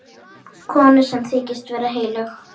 Konu sem þykist vera heilög.